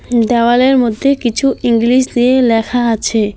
হুঁ দেওয়ালের মধ্যে কিছু ইংলিশ দিয়ে লেখা আছে।